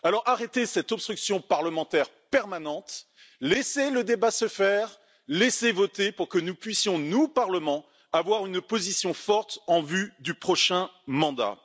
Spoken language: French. Arrêtez cette obstruction parlementaire permanente, laissez le débat se faire, laissez nous voter pour que nous puissions, nous Parlement, avoir une position forte en vue du prochain mandat.